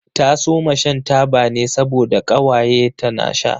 Ta soma shan taba ne saboda ƙawaye ta na sha.